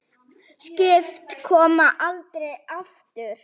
Skip koma aldrei aftur.